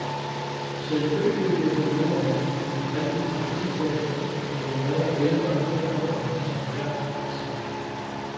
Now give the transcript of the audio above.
Selvfølgelig ville jeg gerne have en rigtig praktikplads, men jeg er ældre og derfor er det sværere, siger han.